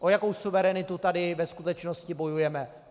O jakou suverenitu tady ve skutečnosti bojujeme?